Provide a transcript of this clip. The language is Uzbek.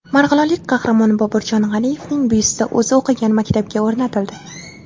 Marg‘ilonlik qahramon Boburjon G‘aniyevning byusti o‘zi o‘qigan maktabga o‘rnatildi.